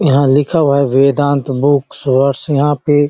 यहाँ लिखा हुआ है वेदांत बुकस वर्ल्ड यहाँ पे --